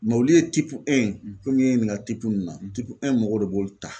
olu ye komi i ye n ɲiniŋa ninnu na mɔgɔw de b'olu ta.